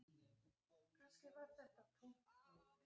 Kannski var þetta tómt háð